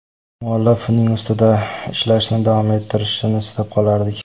Muallif uning ustida ishlashni davom ettirishini istab qolardik.